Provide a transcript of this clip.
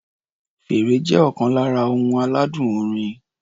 Fèrè jẹ́ ọ̀kan lára ohun aládùn orin.